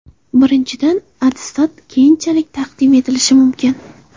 Birinchidan, attestat keyinchalik taqdim etilishi mumkin.